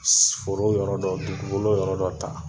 S foro yɔrɔ dɔ, dugukolo yɔrɔ dɔ ta